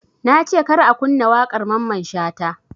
Nace kar ka kunna waƙar mamman shata